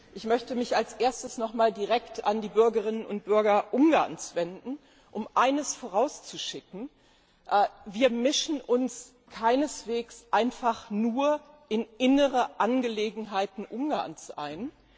Ich möchte mich als Erstes noch einmal direkt an die Bürgerinnen und Bürger Ungarns wenden, um eines vorauszuschicken Wir mischen uns keineswegs einfach nur in innere Angelegenheiten Ungarns ein.